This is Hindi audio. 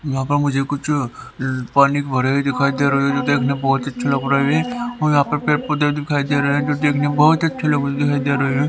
यहां पर मुझे कुछ पानी भरे दिखाई दे रहे हैं जो देखने में बहुत अच्छा लग रहा है और यहां पर पैर पौधे दिखाई दे रहे हैं जो देखने में बहुत अच्छे लगी दे रहे हैं।